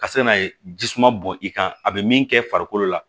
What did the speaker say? Ka se n'a ye jisuman bɔn i kan a bɛ min kɛ farikolo la